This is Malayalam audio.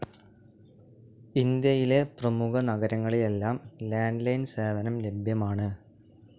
ഇന്ത്യയിലെ പ്രമുഖ നഗരങ്ങളിലെല്ലാം ലാൻഡ്‌ ലൈൻ സേവനം ലഭ്യമാണ്.